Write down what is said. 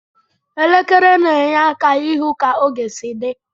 Elekere na enye aka ihụ ka oge si di.